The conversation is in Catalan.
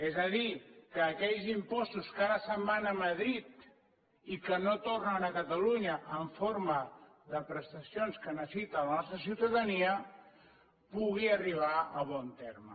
és a dir que aquells impostos que ara se’n van a madrid i que no tornen a catalunya en forma de prestacions que necessita la nostra ciutadania puguin arribar a bon terme